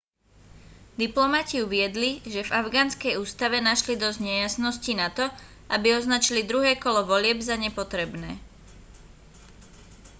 diplomati uviedli že v afgánskej ústave našli dosť nejasností nato aby označili druhé kolo volieb za nepotrebné